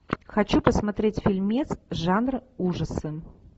хочу посмотреть фильмец жанр ужасы